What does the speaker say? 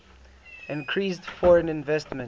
increased foreign investment